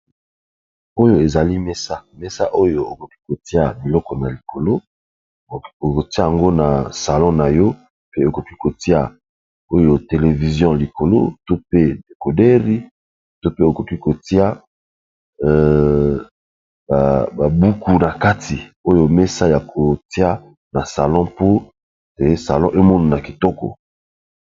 Oyo ezali mesa mesa oyo okoki kotia biloko na likolo okotia yango na salon na to pe okoki kotia yango televizion likolo to pe decodeur ,to pe okoki kotia ba buku na kati oyo mesa ya kotia na salon mpo te salon ezala na kitoko.